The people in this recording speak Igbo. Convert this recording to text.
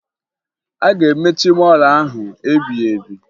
A ga-emechi mọọlụ ahụ ebighebi